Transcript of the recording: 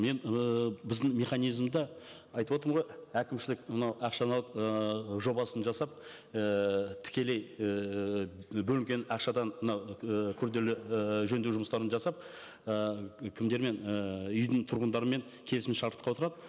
мен ыыы біздің механизмде айтып отырмын ғой әкімшілік мынау ақшаны алып ыыы жобасын жасап ііі тікелей ііі бөлінген ақшадан мынау і күрделі ііі жөндеу жұмыстарын жасап ы кімдермен ііі үйдің тұрғындарымен келісімшартқа отырады